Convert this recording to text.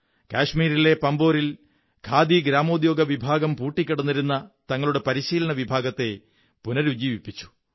കശ്മീരിലെ പാമ്പോരിൽ ഖാദി ഗ്രാമോദ്യോഗ വിഭാഗം പൂട്ടിക്കിടന്നിരുന്ന തങ്ങളുടെ പരിശീലന വിഭാഗത്തെ പുനരുജ്ജീവിപ്പിച്ചു